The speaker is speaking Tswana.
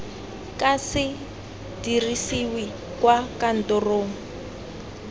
ka se dirisiwe kwa kantorong